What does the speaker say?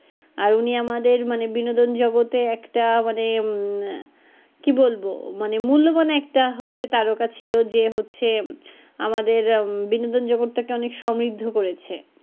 আর উনি আমাদের মানে বিনোদন জগতে একটা মানে, কী বলবো মানে মূল্যবান একটা হচ্ছে তারগা ছিলো যে হচ্ছে আমাদের বনোদন জগৎটা কে একদম সম্ব্রিদ্ধ করেছে।